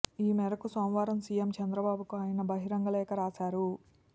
ఈ మేరకు సోమవారం సీఎం చంద్రబాబుకు ఆయన బహిరంగ లేఖ రాశారు